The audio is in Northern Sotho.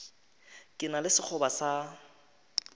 ke na le sekgoba sa